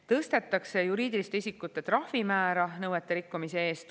Tõstetakse juriidiliste isikute trahvimäära nõuete rikkumise eest.